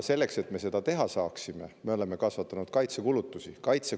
Selleks, et me seda teha saaksime, me oleme kasvatanud kaitsekulutusi.